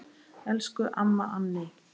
Elsku amma Anney.